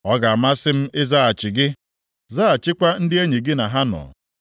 “Ọ ga-amasị m ịzaghachi gị, zaghachikwa ndị enyi gị na ha nọ.